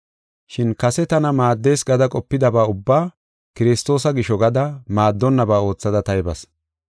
Shin kase tana maaddees gada qopidaba ubbaa, Kiristoosa gisho gada maaddonnaba oothada taybas.